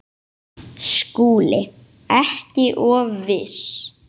SKÚLI: Ekki of viss!